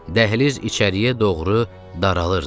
Dəhliz içəriyə doğru daralırdı.